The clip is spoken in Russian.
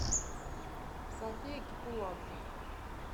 софия кипуладзе